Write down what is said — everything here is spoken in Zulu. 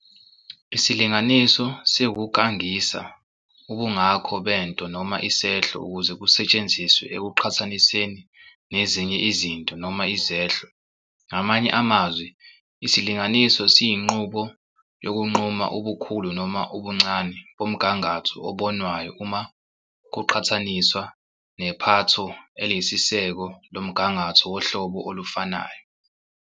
Isilinganiso siwukungakanisa ubungako bento noma isehlo, ukuze kusetshenziswe ukuqhathaniseni nezinye izinto noma izehlo. Ngamanye amazwi, isilinganiso siyinqubo yokunquma ubukhulu noma ubuncane bomgangatho obonwayo uma kuqhathaniswa nephatho eliyisiseko lomgangatho wohlobo olufanayo.